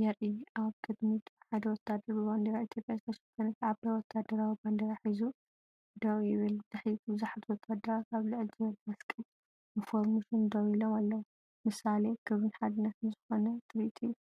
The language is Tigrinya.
የርኢ። ኣብ ቅድሚት ሓደ ወተሃደር ብባንዴራ ኢትዮጵያ ዝተሸፈነት ዓባይ ወተሃደራዊ ባንዴራ ሒዙ ደው ይብል፤ ብድሕሪት፡ ብዙሓት ወተሃደራት ኣብ ልዕል ዝበለ መስቀል ብፎርመሽን ደው ኢሎም ኣለው። ምሳሌ ክብርን ሓድነትን ዝኾነ ትርኢት እዩ።